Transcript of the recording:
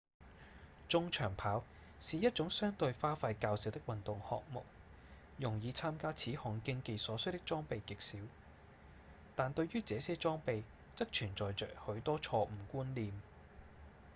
中長跑是一種相對花費較少的運動項目用以參加此項競技所需的裝備極少但對於這些裝備則存在著許多錯誤觀念